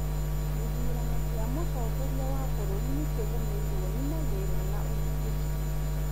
Githrano kĩa mũtongoria wa bũrũri nĩ kĩgũmĩrwo nĩ mathĩna na ũgitĩri